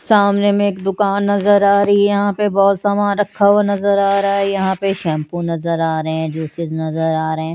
सामने में एक दुकान नज़र आ रही है यहां पे बहुत समान रखा हुआ नज़र आ रहा है यहां पे शैंपू नज़र आ रहे हैं जूसेज नज़र आ रहे हैं।